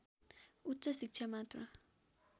उच्च शिक्षा मात्र